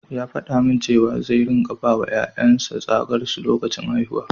Ya faɗa min cewa zai ringa bawa ƴaƴan sa tsagar su lokacin haihuwa.